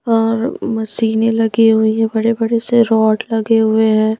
और मशीनें लगी हुई हैं बड़े बड़े से रॉड लगे हुए हैं।